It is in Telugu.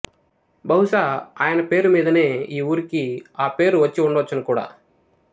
బహుసా ఆయన పేరు మీదనే ఈ ఊరికి ఆపేరు వచ్చి ఉండవచ్చును కూడా